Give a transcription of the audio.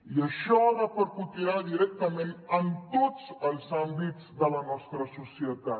i això repercutirà directament en tots els àmbits de la nostra societat